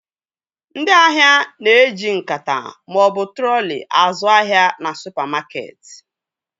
Ndị ahịa na-eji nkata maọbụ trọli azụ ahịa na supamakeetị